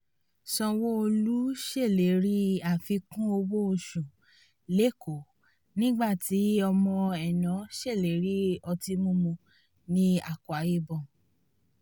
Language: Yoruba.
sanwó-olu ṣèlérí àfikún owó oṣù lẹ́kọ̀ọ́ nígbà tí ọmọ ẹ̀nọ́ ṣèlérí ọtí mímu ní akwa ibom